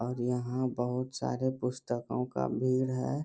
और यहाँ बहुत सारे पुस्तकों का भीड़ है।